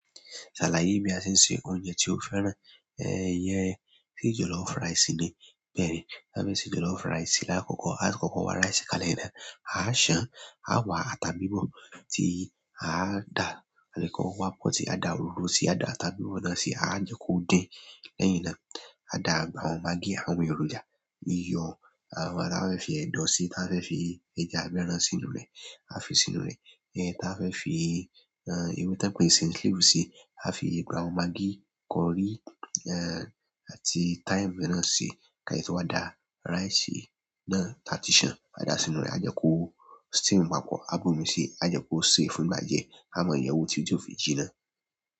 Bí a ṣe ń se oúnjẹ tí ó fẹ́ràn, iyẹn, tí jollof rice ni, bẹ́ẹ̀ ni. Bí a fẹ́ se jollof rice, lákòókò, lákòókò wa rice kan lẹ́yìn náà, à ṣàn, à wá ata bíbọ̀ tí à dà, àlè kán wá pọ̀ tí à dà òróró sí, à dà ata bíbọ̀ náà sí, à jẹ kó din lẹ́yìn náà. À dà àwọn magí àwọn èròjà, iyọ̀, àwọn tí a fẹ́ fi ẹ̀dọ̀ sí, tí a fẹ́ fi ẹja àbí ẹ́ràn sínú rẹ̀, a fi sínú rẹ̀. Ta ba fẹ́ fi ewé tí wọ́n pè ní saint leaf sí, a fi àwọn magí, curry àti thyme mẹ́ràn ṣi. Ká sẹ̀ to wà dà rice náà tí a ti ṣàn, à dà sínú rẹ̀, à jẹ́ kó steam papọ̀, à bù omí sí, à jẹ́ kó ṣe fún ìgbà diẹ́. A mọ yẹ̀wo títi ti òfi jíná.